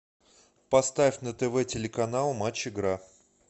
поставь на тв телеканал матч игра